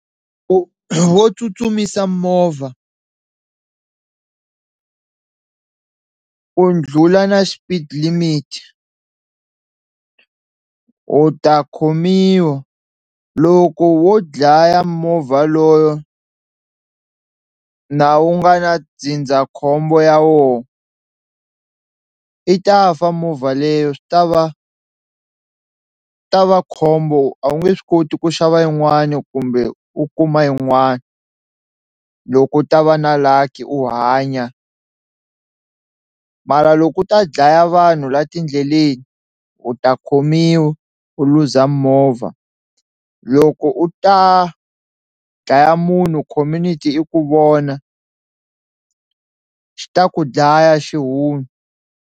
Wo wo tsutsumisa movha u ndlhula na xipidi limit u ta khomiwa loko wo dlaya movha loyo na u nga na ndzindzakhombo ya woho i ta fa movha leyo swi ta va ta va khombo a wu nge swi koti ku xava yin'wani kumbe u kuma yin'wana, loko u ta va na lucky u hanya mara loko u ta dlaya vanhu la tindleleni u ta khomiwa u luza movha loko u ta dlaya munhu community i ku vona xi ta ku dlaya .